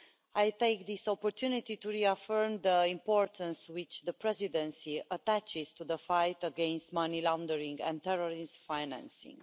I take this opportunity to reaffirm the importance which the Presidency attaches to the fight against money laundering and terrorist financing.